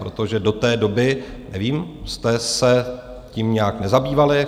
Protože do té doby, nevím, jste se tím nějak nezabývali?